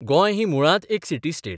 गोंय ही मुळांत एक सिटी स्टेट.